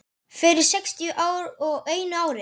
Fyrir sextíu og einu ári.